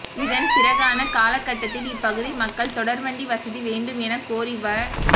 இதன் பிறகான காலகட்டத்தில் இப்பகுதி மக்கள் தொடர்வண்டி வசதிவேண்டும் என கோரிவ